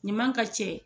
Ɲuman ka cɛ